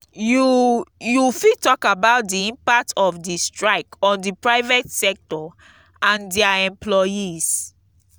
you you fit talk about di impact of di strike on di private sector and dia employees.